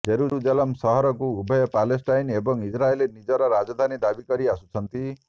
Jerusalem ସହରକୁ ଉଭୟ Palestine ଏବଂ ଇସ୍ରାଏଲ ନିଜର ରାଜଧାନୀ ଦାବି କରି ଆସୁଛନ୍ତି